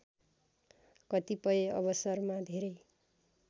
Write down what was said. कतिपय अवसरमा धेरै